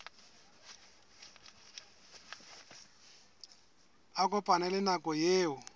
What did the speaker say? a kopane le nako eo